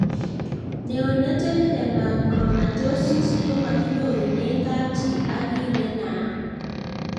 Neonatal hemochromatosis komakinyorune kapchii ak kiy ne naat